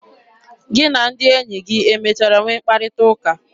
Gị na ndị enyi gị emechara nwee mkparịta ụka?